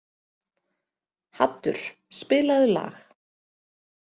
Haddur, spilaðu lag.